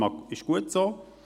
Das ist gut so.